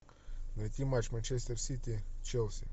найти матч манчестер сити челси